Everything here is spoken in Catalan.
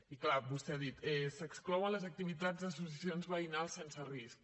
i és clar vostè ha dit s’exclouen les activitats d’associacions veïnals sense risc